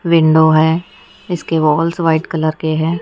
Window है इसके goggles white colour के हैं।